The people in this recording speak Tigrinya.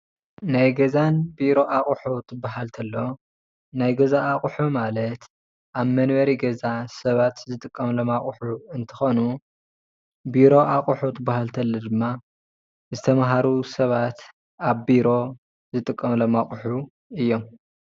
ናይ ገዛን ቢሮ ኣቁሑ እንትባሃል ተሎ ናይ ገዛ ኣቁሒ ማለት ኣብ መንበሪ ገዛ ሰባት ዝጥቀምሎም ኣቁሑ እንትኮኑ ፤ ቢሮ ኣቁሑ እንትባሃል ተሎ ድማ ዝተማሃሩ ሰባት ኣብ ቢሮ ዝጥቀምሎም ኣቁሑ እዮም፡፡